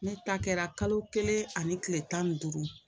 Ne ta kɛra kalo kelen ani kile tan ni duuru